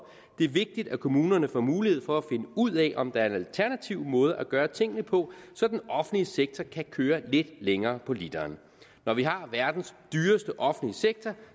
det er vigtigt at kommunerne får mulighed for at finde ud af om der er en alternativ måde at gøre tingene på så den offentlige sektor kan køre lidt længere på literen når vi har verdens dyreste offentlige sektor